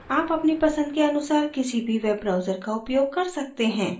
आप अपनी पसंद के अनुसार किसी भी web browser का उपयोग कर सकते हैं